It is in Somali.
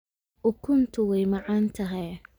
Ukuntu way macaan tahay